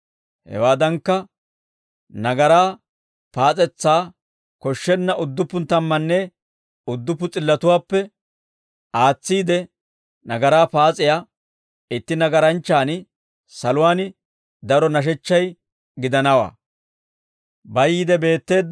Hewaadankka nagaraa paas'etsaa koshshenna udduppu tammanne udduppu s'illatuwaappe aatsiide nagaraa paas'iyaa itti nagaranchchaan saluwaan daro nashechchay gidanawaa.